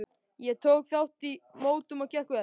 Ég tók þátt í mótum og gekk vel.